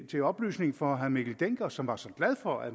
til oplysning for herre mikkel dencker som var så glad for at